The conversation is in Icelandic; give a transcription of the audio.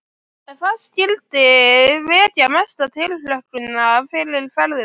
En hvað skyldi vekja mesta tilhlökkun fyrir ferðina?